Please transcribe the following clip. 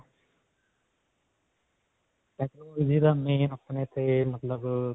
main ਆਪਣੇ ਤੇ ਮਤਲਬ ਅਅ